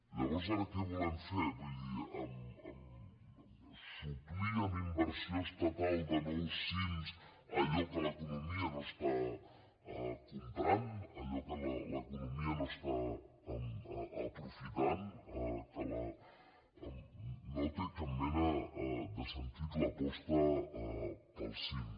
llavors ara què volem fer vull dir suplir amb inversió estatal de nous cim allò que l’economia no està comprant allò que l’economia no està aprofitant no té cap mena de sentit l’aposta pels cim